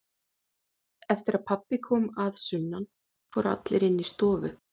Eftir að pabbi kom að sunnan fóru allir inn í stofu.